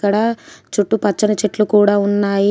ఇక్కడ చుట్టూ పచ్చని చెట్లు కూడా ఉన్నాయి.